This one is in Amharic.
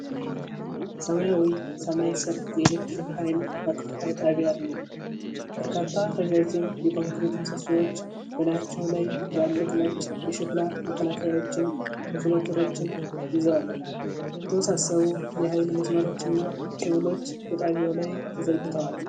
በሰማያዊ ሰማይ ስር የኤሌክትሪክ ኃይል ማከፋፈያ ጣቢያ አሉ። በርካታ ረዣዥም የኮንክሪት ምሰሶዎች በላያቸው ላይ ትላልቅ ነጭ የሸክላ መከላከያዎችን (ኢንሱሌተሮችን) ይዘዋል። የተወሳሰቡ የኃይል መስመሮችና ኬብሎች በጣቢያው ላይ ተዘርግተዋል።